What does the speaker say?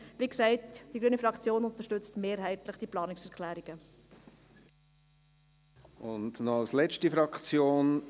Wie gesagt: Die grüne Fraktion unterstützt die Planungserklärungen mehrheitlich.